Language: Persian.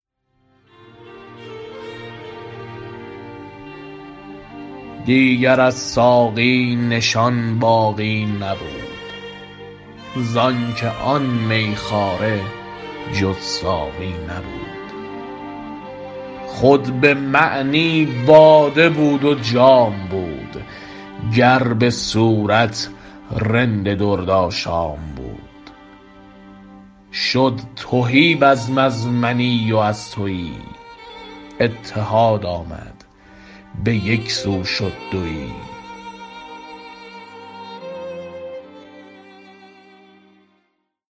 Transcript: در بیان اینکه چون طالب تعینات را در قمار طلب بباخت و هستی خود را در هستی مطلوب نیست ساخت و در فنای او باقی شد لاجرم هم میخواره و هم ساقی شد و اگر هم باده و جامش خوانند رواست دیگر از ساقی نشان باقی نبود ز آنکه آن میخواره جز ساقی نبود خود بمعنی باده بود و جام بود گر بصورت رند درد آشام بود شد تهی بزم از منی و از تویی اتحاد آمد به یک سو شد دویی